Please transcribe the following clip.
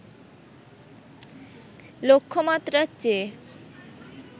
লক্ষ্যমাত্রার চেয়ে